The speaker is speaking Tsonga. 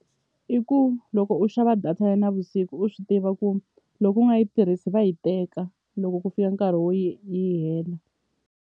I ku loko u xava data ya navusiku u swi tiva ku loko u nga yi tirhisi va yi teka loko ku fika nkarhi wo yi yi hela.